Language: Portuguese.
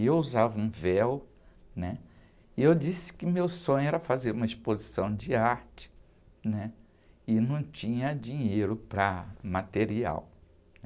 E eu usava um véu, né? E eu disse que meu sonho era fazer uma exposição de arte, né? E não tinha dinheiro para material.